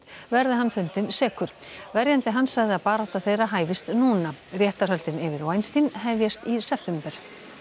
verði hann fundinn sekur verjandi hans sagði að barátta þeirra hæfist núna réttarhöldin yfir hefjast í september